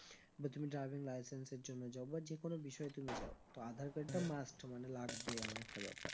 বা তুমি driving licence এর জন্য যাও বা যেকোনো বিষয়ে তুমি যাও তো আধার card টা must মানে লাগবে এমন একটা ব্যাপার